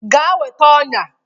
Gaa weta ọnyà